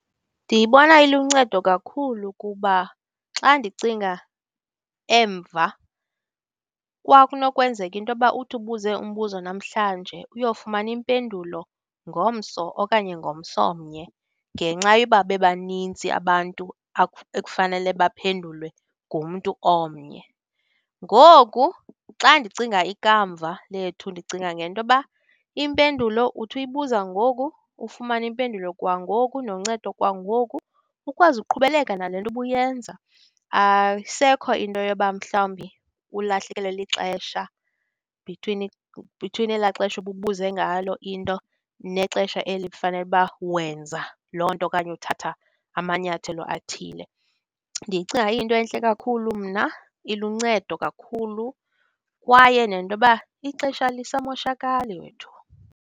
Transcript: Ndiyibona iluncedo kakhulu kuba xa ndicinga emva kwakunokwenzeka into yoba uthi ubuze umbuzo namhlanje, uyofumana impendulo ngomso okanye ngomso omnye ngenxa yoba bebaninzi abantu ekufanele baphendulwe ngumntu omnye. Ngoku xa ndicinga ikamva lethu ndicinga ngento yoba, impendulo uthi uyibuza ngoku, ufumane impendulo kwangoku, noncedo kwangoku, ukwazi uqhubeleka nale nto ubuyenza. Ayisekho into yoba mhlawumbi ulahlekelwe lixesha between between elaa xesha ububuze ngalo into nexesha eli kufanele uba wenza loo nto okanye uthatha amanyathelo athile. Ndiyicinga iyinto entle kakhulu mna, iluncedo kakhulu, kwaye nento yoba ixesha alisamoshakali wethu.